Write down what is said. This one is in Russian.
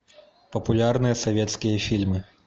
популярные советские фильмы